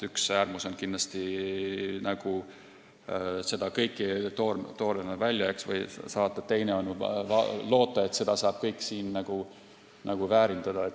Üks äärmus on kindlasti kõike toormena välja saata, teine on loota, et kõike saab siin väärindada.